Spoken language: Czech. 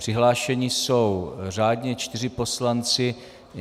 Přihlášeni jsou řádně čtyři poslanci.